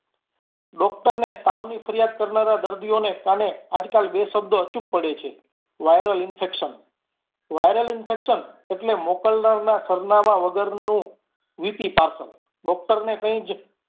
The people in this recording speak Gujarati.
Doctor ને તાવની ફરિયાદ કરનારા દર્દીઓ ને કાને આજકાલ બે શબ્દ અચૂક પડે છે viral infection viral infection એટલે મોકલનારાના સરનામાં વગરનું VPparcel doctor ને કૈજ